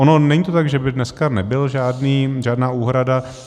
Ono není to tak, že by dneska nebyla žádná úhrada.